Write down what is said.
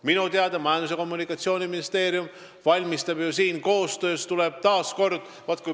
Minu teada Majandus- ja Kommunikatsiooniministeerium valmistab seda ette koostöös omavalitsustega.